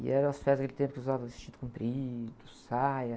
E eram as festas daquele tempo que usavam vestido comprido, saia.